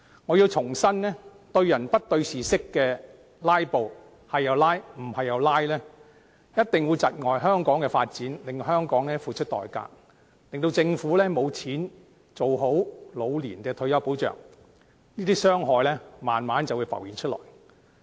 我重申，對人不對事式的"拉布"，不論怎樣也"拉布"，一定會窒礙香港的發展，令香港付出代價，政府沒有資源做好退休保障，這些傷害慢慢便會浮現出來。